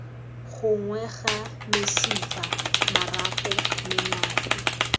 gongwe ga mesifa marapo menape